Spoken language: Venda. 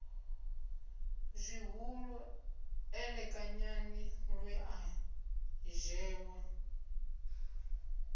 zwihulu elekanyani lwe a dzheṅwa